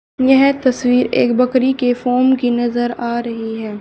यह तस्वीर एक बकरी के फॉर्म की नजर आ रही है।